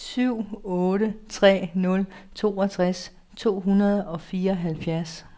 syv otte tre nul toogtres to hundrede og fireoghalvfjerds